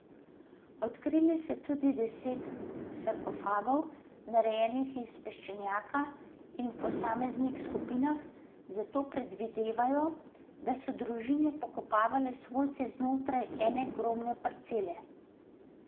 Odkrili so tudi deset sarkofagov, narejenih iz peščenjaka in v posameznih skupinah, zato predvidevajo, da so družine pokopavale svojce znotraj ene grobne parcele.